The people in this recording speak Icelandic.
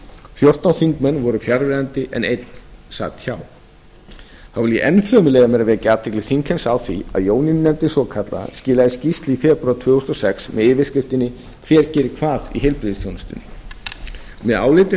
fjórtán þingmenn voru þá fjarverandi en einn sat hjá þá vil ég enn fremur leyfa mér að vekja athygli þingheims á því að jónínu nefndin svokallaða skilaði skýrslu í febrúar tvö þúsund og sex með yfirskriftinni hver geri hvað í heilbrigðisþjónustunni með áliti